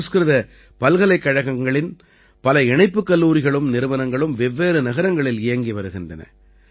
சம்ஸ்கிருத பல்கலைக்கழகங்களின் பல இணைப்புக் கல்லூரிகளும் நிறுவனங்களும் வெவ்வேறு நகரங்களில் இயங்கி வருகின்றன